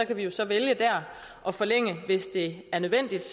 kan vi jo så vælge der at forlænge hvis det er nødvendigt